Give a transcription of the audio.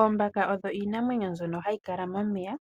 Oombaka odho iinamwenyo mbyono hayi kala momeya,